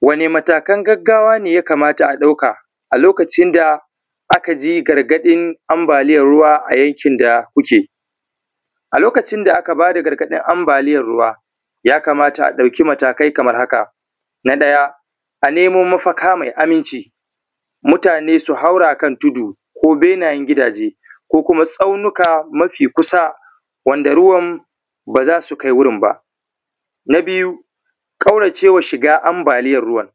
Wane matakan gaggawa ne ya kamata a ɗauka a lokacin da aka ji gargaɗin ambaliyar ruwa a yankin da kuke? A lokacin da aka ba da gargaɗin ambaliyar ruwa, ya kamata a ɗauki matakai kamar haka: na ɗaya, a nemo mafaka mai aminci, mutane su haura kan tudu ko benayen gigaje ko kuma tsaunuka mafi kusa wanda ruwan ba za su kai wurin ba. Na biyu, ƙaurace wa shiga ambaliyar ruwan,